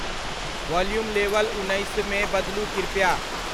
Volume level उन्नैस मे बदलू कृपया।